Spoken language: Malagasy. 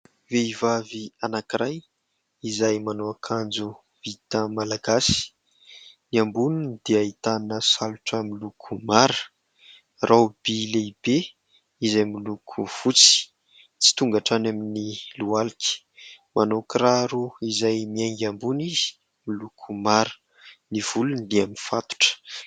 Vehivavy anankiray izay manao akanjo vita malagasy, ny amboniny dia ahitana salotra miloko mara, "robe" lehibe izay miloko fotsy tsy tonga hatrany amin'ny lohalika, manao kiraro izay miainga ambony izy miloko mara, ny volony dia mifatotra.